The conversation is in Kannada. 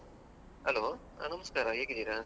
Hello , ಹಾ ನಮಸ್ಕಾರ ಹೇಗಿದ್ದೀರಾ?